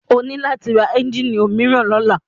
O ní láti ra ẹ́njíìnì òmíràn lọ́la.